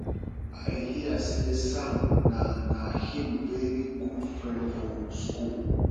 i hear say sam na na him very good friend for school